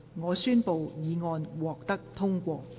我宣布議案獲得通過。